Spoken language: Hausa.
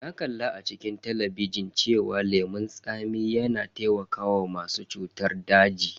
Na kalla a cikin talabijin cewa lemon tsami yana taimakawa masu cutar daji.